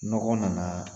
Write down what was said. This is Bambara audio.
Nɔgɔ nana